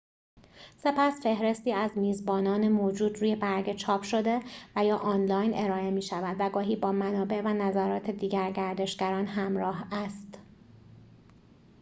سپس فهرستی از میزبانان موجود روی برگه چاپ‌شده و/یا آنلاین ارائه می‌شود، و گاهی با منابع و نظرات دیگر گردشگران همراه است